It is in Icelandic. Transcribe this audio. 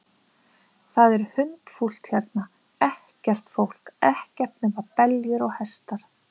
Það er hundfúlt hérna, ekkert fólk, ekkert nema beljur og hestar.